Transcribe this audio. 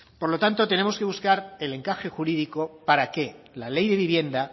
por lo tanto tenemos que buscar el encaje jurídico para que la ley de vivienda